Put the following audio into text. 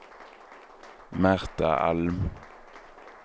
Märta Alm